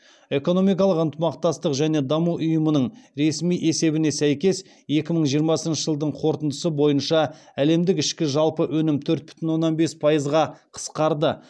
экономикалық ынтымақтастық және даму ұйымының ресми есебіне сәйкес екі мың жиырмасыншы жылдың қорытындысы бойынша әлемдік ішкі жалпы өнім төрт бүтін оннан бес пайызға қысқарады